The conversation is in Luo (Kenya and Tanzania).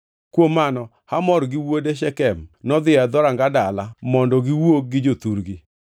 Kuom mano Hamor gi wuode Shekem nodhi e dhoranga dalagi mondo giwuo gi jothurgi.